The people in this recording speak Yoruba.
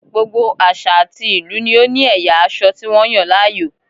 Gbogbo àṣà àti ìlú ni ó ní ẹ̀yà aṣọ tí wọ́n yàn láàyò